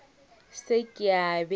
se ke a be a